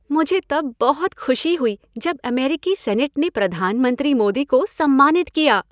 मुझे तब बहुत खुश हुई जब अमेरिकी सेनेट ने प्रधानमंत्री मोदी को सम्मानित किया।